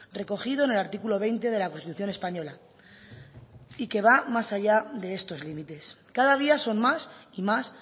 recogido en el artículo veinte de la constitución española y que va más allá de estos límites cada día son más y más